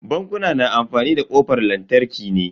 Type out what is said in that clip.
Bankuna na amfani da kofan lantarki ne.